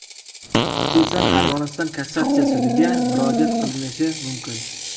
Xususan, Armaniston Kassatsiya sudiga murojaat qilinishi mumkin.